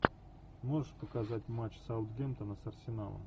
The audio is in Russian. можешь показать матч саутгемптона с арсеналом